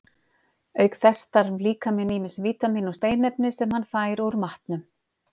Auk þess þarf líkaminn ýmis vítamín og steinefni, sem hann fær úr matnum.